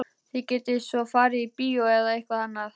Þið getið svo farið á bíó eða eitthvað annað.